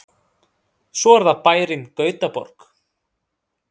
Svo er það bærinn Gautaborg.